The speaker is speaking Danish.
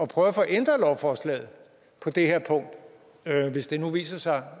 prøve at få ændret lovforslaget på det her punkt hvis det nu viser sig